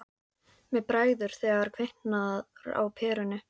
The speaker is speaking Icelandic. Mér bregður þegar kviknar á perunni